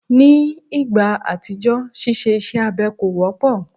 Ní ìgbà àtijọ́, ṣíṣe iṣẹ́ abẹ kò wọ́pọ̀